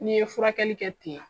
N'i ye furakɛli kɛ ten.